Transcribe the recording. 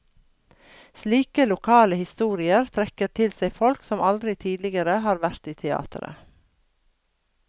Slike lokale historier trekker til seg folk som aldri tidligere har vært i teateret.